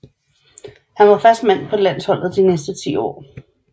Han var fast mand på landsholdet de næste ti år